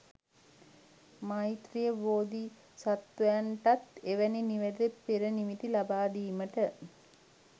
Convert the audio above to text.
මෛත්‍රීය බෝධිසත්වයන්ටත් එවැනි නිවැරදි පෙරනිමිති ලබාදීමට